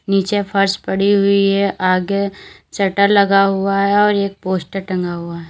नीचे फर्श पड़ी हुई है आगे शटर लगा हुआ है और एक पोस्टर टंगा हुआ है।